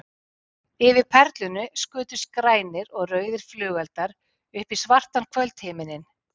Yfir Perlunni skutust grænir og rauðir flugeldar upp í svartan kvöldhimininn.